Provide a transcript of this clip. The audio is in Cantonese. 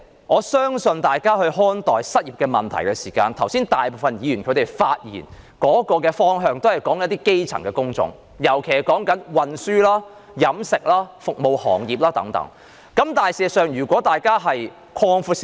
換言之，在看待失業問題上，大部分議員剛才發言時也只提及一些基層工種，尤其是運輸、飲食、服務行業等，但大家的眼界可以擴闊一點。